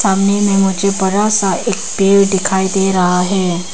सामने में मुझे बड़ा सा एक पेड़ दिखाई दे रहा है।